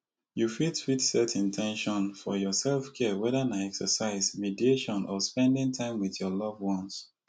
you fit fit set in ten tion for your selfcare whether na exercise mediation or spending time with love ones